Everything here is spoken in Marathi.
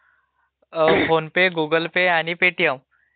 फोन पे, गुगुल पे आणि पेटीएम